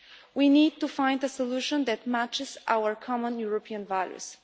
We need to find a solution that matches our common European values.